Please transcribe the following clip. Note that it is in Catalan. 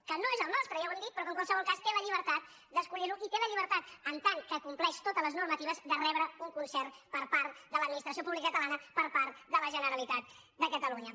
que no és el nostre ja ho hem dit però que en qualsevol cas té la llibertat d’escollir lo i té la llibertat en tant que compleix totes les normatives de rebre un concert per part de l’administració pública catalana per part de la generalitat de catalunya